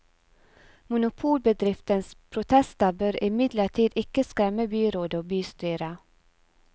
Monopolbedriftens protester bør imidlertid ikke skremme byrådet og bystyret.